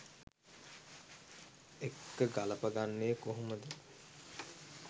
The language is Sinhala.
එක්ක ගළපගන්නේ කොහොමද?